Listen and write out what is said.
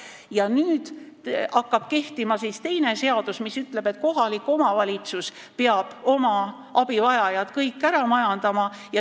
Ja nüüd hakkab kehtima teine seadus, mis ütleb, et kohalik omavalitsus peab oma abivajajad kõik ära majandama.